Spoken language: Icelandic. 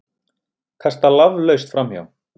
Kasta laflaust framhjá.